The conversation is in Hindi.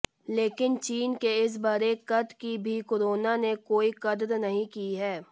लेकिन चीन के इस बढ़े कद की भी कोरोना ने कोई कद्र नहीं की है